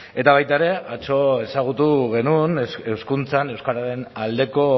eta baita ere atzo ezagutu genuen hezkuntzan euskararen aldeko